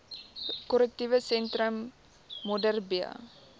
korrektiewe sentrum modderbee